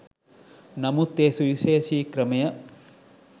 නමුත් ඒ සුවිශේෂී ක්‍රමය